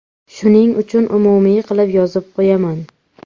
Shuning uchun umumiy qilib yozib qo‘yaman.